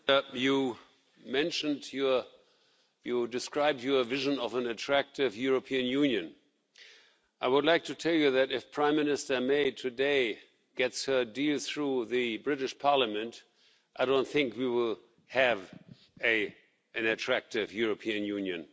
Mr President, Mr Pellegrini, you described your vision of an attractive European Union. I would like to tell you that if Prime Minister May today gets her deal through the British Parliament, I don't think we will have an attractive European Union.